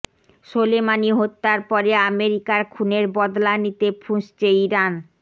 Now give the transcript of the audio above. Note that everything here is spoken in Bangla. সোলেমানি হত্যার পরে আমেরিকার খুনের বদলা নিতে ফুঁসছে ইরান